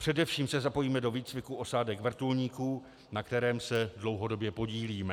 Především se zapojíme do výcviku osádek vrtulníků, na kterém se dlouhodobě podílíme.